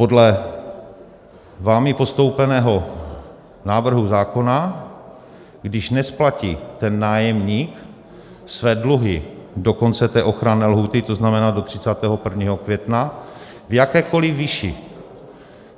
Podle vámi postoupeného návrhu zákona, když nesplatí ten nájemník své dluhy do konce té ochranné lhůty, to znamená do 31. května, v jakékoli výši,